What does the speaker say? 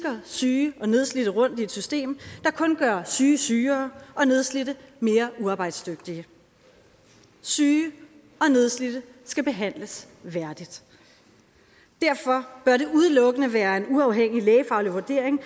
syge og nedslidte rundt i et system der kun gør syge sygere og nedslidte mere uarbejdsdygtige syge og nedslidte skal behandles værdigt derfor bør det udelukkende være en uafhængig lægefaglig vurdering